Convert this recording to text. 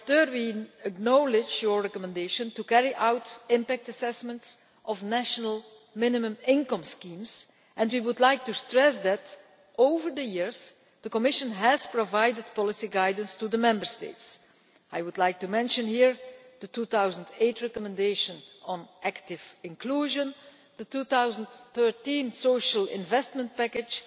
We acknowledge the rapporteur's recommendation to carry out impact assessments of national minimum income schemes and we would like to stress that over the years the Commission has provided policy guidance to the Member States. I would like to mention here the 2008 recommendation on active inclusion, the 2013 Social Investment Package